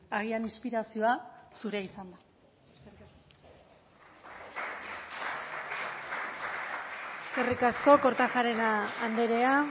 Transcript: agian inspirazioa zurea izan da eskerrik asko kortajarena andrea